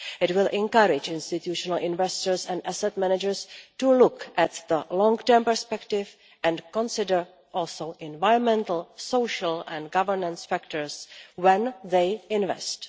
It will encourage institutional investors and asset managers to look at the long term perspective and also consider environmental, social and governance factors when they invest.